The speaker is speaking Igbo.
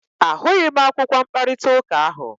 A hụghị m akwụkwọ mkparịta ụka ahụ.